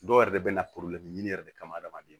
Dɔw yɛrɛ bɛ na ɲini yɛrɛ de kama adamaden